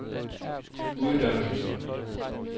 uddannelsen